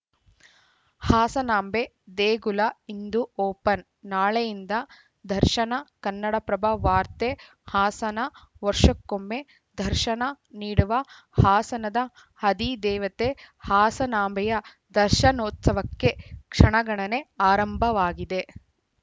ಹಾಸನಾಂಬೆ ದೇಗುಲ ಇಂದು ಓಪನ್‌ ನಾಳೆಯಿಂದ ದರ್ಶನ ಕನ್ನಡಪ್ರಭ ವಾರ್ತೆ ಹಾಸನ ವರ್ಷಕ್ಕೊಮ್ಮೆ ದರ್ಶನ ನೀಡುವ ಹಾಸನದ ಅಧಿದೇವತೆ ಹಾಸನಾಂಬೆಯ ದರ್ಶನೋತ್ಸವಕ್ಕೆ ಕ್ಷಣಗಣನೆ ಆರಂಭವಾಗಿದೆ